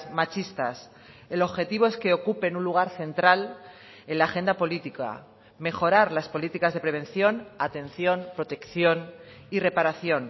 machistas el objetivo es que ocupen un lugar central en la agenda política mejorar las políticas de prevención atención protección y reparación